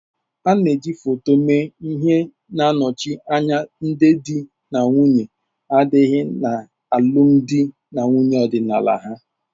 A na eji foto mee ihe na-anọchi anya ndị di na nwunye adịghị na alụmdi na nwunye ọdịnala ha.